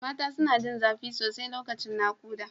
Mata suna jin zafi sosai lokacin nakuda.